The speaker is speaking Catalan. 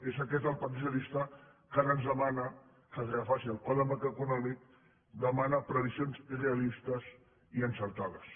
és aquest el partit socialista que ara ens demana que es refaci el quadre macroeconòmic demana previsions realistes i encertades